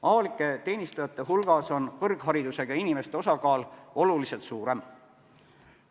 Avalikus teenistuses on kõrgharidusega inimeste osakaal oluliselt suurem.